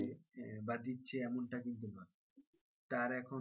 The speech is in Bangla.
বা দিচ্ছে এমনটা কিন্তু নয় তার এখন,